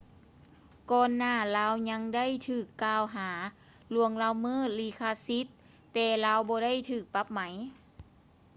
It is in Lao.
ກ່ອນໜ້າລາວຍັງໄດ້ຖືກ່າວຫາລ່ວງລະເມີດລິຂະສິດແຕ່ລາວບໍ່ໄດ້ຖືກປັບໄໝ